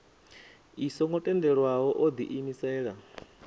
i songo tendelwaho o diimisela